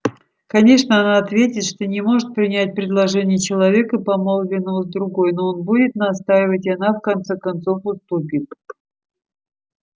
конечно она ответит что не может принять предложение человека помолвленного с другой но он будет настаивать и она в конце концов уступит